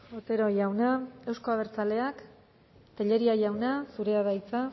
otero jauna euzko abertzaleak tellería jauna zurea da hitza